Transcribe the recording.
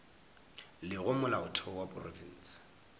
le gore molaotheo wa profense